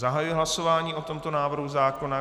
Zahajuji hlasování o tomto návrhu zákona.